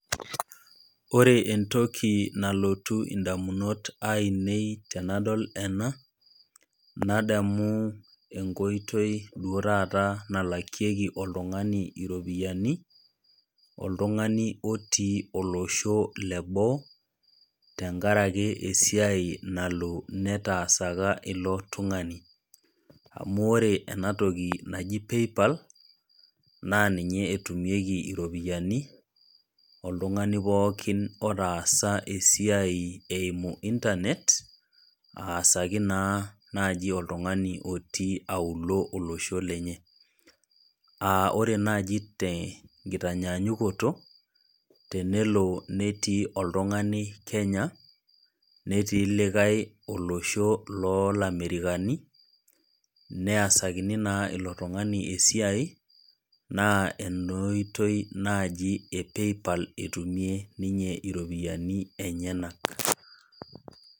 Ore entoki nalotu edamunot ainei tenadol ena nadamu enkoitoi duo taata nalakieki oltung'ani iropiani oltung'ani otii olosho leboo tenkaraki esiai naloo netasaka eloo tung'ani amu ore entoki naaji PayPal naa ninye etumieki eropiani oltungani pookin otasa esiai eyimu internet asaki naa oltung'ani otii auluo olosho lenye aa ore naaji tee nkitanyanyukoto tenelo netii oltung'ani Kenya netii olikae olosho loo lee America nesakini naa ilo tung'ani esiai naa enaa oitoi ee PayPal etumie ninye eropiani enyanak